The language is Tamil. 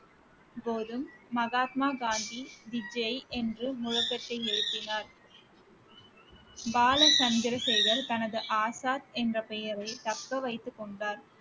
மகாத்மா காந்தி என்று முழக்கத்தை எழுப்பினார் பாலசந்திரசேகர் தனது ஆசாத் என்ற பெயரை தக்க வைத்துக் கொண்டார்